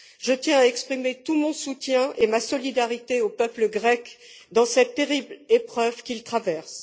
Je tiens à exprimer tout mon soutien et ma solidarité au peuple grec dans cette terrible épreuve qu'il traverse.